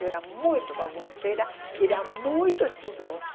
Eu era muito bagunceira, era muito estudiosa.